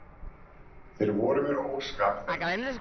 Þeir voru mér óskapfelldir.